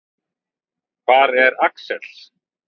Hvar er Axel?